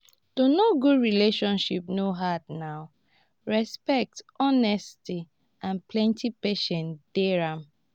to know good relationship no hard na respect honesty and plenty patience dey am.